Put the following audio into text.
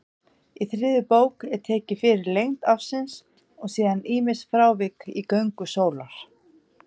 Í þriðju bók er tekin fyrir lengd ársins og síðan ýmis frávik í göngu sólar.